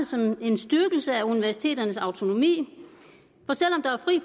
som en styrkelse af universiteternes autonomi